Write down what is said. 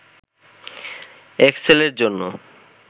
এক্সেলের জন্য